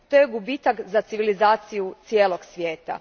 To je gubitak za civilizaciju cijelog svijeta.